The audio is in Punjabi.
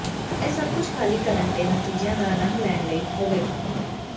ਇਹ ਸਭ ਕੁਝ ਖਾਲੀ ਕਰਨ ਅਤੇ ਨਤੀਜਿਆਂ ਦਾ ਅਨੰਦ ਲੈਣ ਲਈ ਹੀ ਹੋਵੇਗਾ